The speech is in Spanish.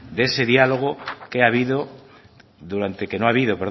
de ese diálogo que no habido